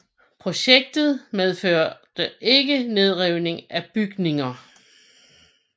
Projektet medførte ikke nedrivning af bygninger